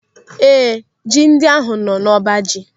Ee, ji ndị ahụ nọ n'ọbaji.